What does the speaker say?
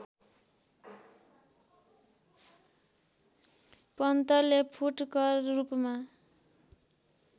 पन्तले फुटकर रूपमा